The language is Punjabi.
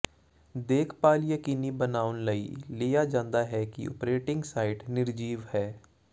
ਦੇਖਭਾਲ ਯਕੀਨੀ ਬਣਾਉਣ ਲਈ ਲਿਆ ਜਾਂਦਾ ਹੈ ਕਿ ਓਪਰੇਟਿੰਗ ਸਾਈਟ ਨਿਰਜੀਵ ਹੈ